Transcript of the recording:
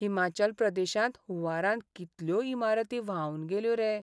हिमाचल प्रदेशांत हुंवारान कितल्यो इमारती व्हांवन गेल्यो रे.